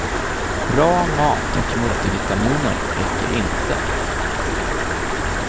Bra mat och multivitaminer räcker inte.